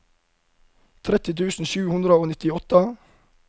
tretti tusen sju hundre og nittiåtte